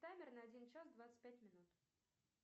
таймер на один час двадцать пять минут